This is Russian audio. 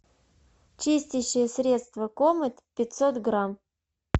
чистящее средство комет пятьсот грамм